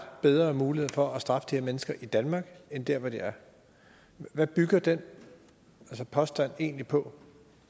bedre mulighed for at straffe de her mennesker i danmark end dér hvor de er hvad bygger den påstand egentlig på